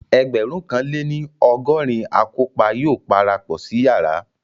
Ẹgbẹ̀rún kan lé ní ọgọrin akọ́pa yóò parapọ̀ sí yàrá